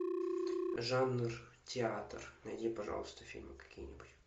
жанр театр найди пожалуйста фильмы какие нибудь